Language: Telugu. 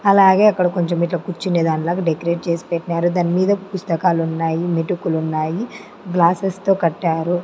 అలాగే అక్కడ కొంచెం ఇట్ల కూర్చునే దానిలాగా డెకరేట్ చేసి పెట్టినారు దానిమీద పుస్తకాలు ఉన్నాయి మెటుకులు ఉన్నాయి గ్లాసెస్ తో కట్టారు.